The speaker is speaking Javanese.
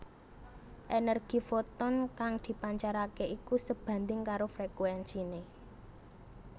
Ènèrgi foton kang dipancaraké iku sebandhing karo frékuènsiné